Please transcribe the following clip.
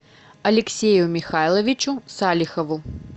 алексею михайловичу салихову